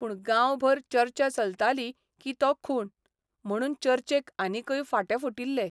पूण गांवभर चर्चा चलताली की तो खून म्हणून चर्चेक आनिकय फांटे फुटिल्ले.